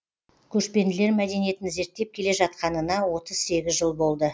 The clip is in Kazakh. көшпенділер мәдениетін зерттеп келе жатқанына отыз сегіз жыл болды